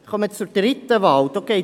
Wir kommen zur dritten Wahl.